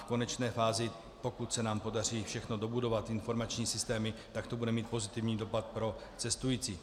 V konečné fázi, pokud se nám podaří všechno dobudovat, informační systémy, tak to bude mít pozitivní dopad pro cestující.